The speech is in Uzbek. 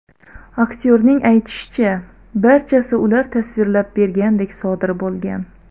Aktyorning aytishicha, barchasi ular tasvirlab bergandek sodir bo‘lgan.